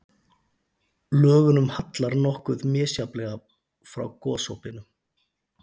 Lögunum hallar nokkuð misjafnlega frá gosopinu.